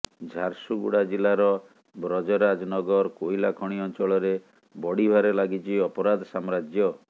ଝାରସୁଗୁଡ଼ା ଜିଲ୍ଲାର ବ୍ରଜରାଜନଗର କୋଇଲା ଖଣି ଅଂଚଳରେ ବଢ଼ିବାରେ ଲାଗିଛି ଅପରାଧ ସାମ୍ରାଜ୍ୟ